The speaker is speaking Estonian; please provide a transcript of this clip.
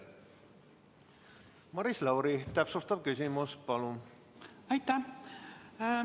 Maris Lauri, täpsustav küsimus, palun!